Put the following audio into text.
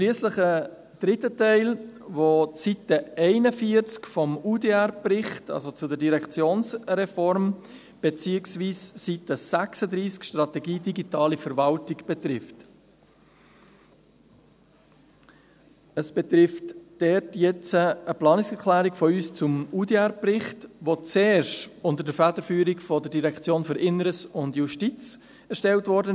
Schliesslich ein dritter Teil, der die Seite 41, UDR-Bericht, also betreffend die Direktionsreform, betrifft, beziehungsweise Seite 36, die «Strategie Digitale Verwaltung»: Dort betrifft es eine Planungserklärung von uns zum UDR-Bericht, welcher zuerst unter der Federführung der DIJ erstellt wurde.